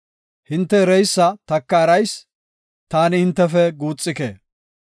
Hinte ereysa taka erayis; taani hintefe guuxike.